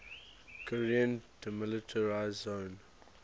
korean demilitarized zone